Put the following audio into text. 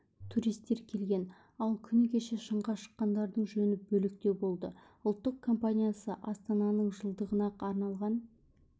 туристер келген ал күні кеше шыңға шыққандардың жөні бөлектеу болды ұлттық компаниясы астананың жылдығына арналған